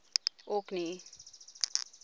orkney